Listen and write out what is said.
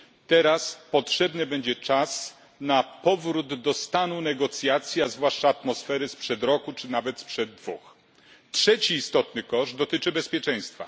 Teraz potrzebny będzie czas na powrót do stanu negocjacji, a zwłaszcza atmosfery sprzed roku czy nawet sprzed dwóch lat. Trzeci istotny koszt dotyczy bezpieczeństwa.